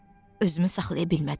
Özümü saxlaya bilmədim.